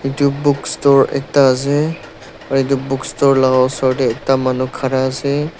Etu book store ekta ase aro etu book store la osor dae ekta manu khara ase--